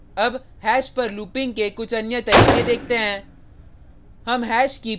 अब हैश पर लूपिंग के कुछ अन्य तरीके देखते हैं